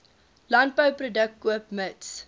landbouproduk koop mits